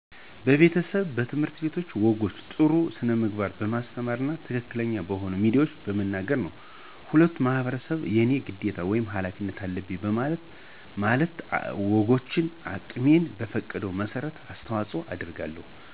በቤተሰብ፣ በትምህርት ቤቶች ወጎችን በጥሩ ስነምግባር በማስተማር እና ትክክለኛ በሆኑ ሚዲያዎች በመናገር ነው። ሁሉም ማህበረሰብ የኔ ግዴታ ወይም ሀላፊነት አለብኝ ማለት አለበት። ወጎችን አቅሜ በፈቀደው መሠረት አስተዋጽኦ አደርጋለሁ።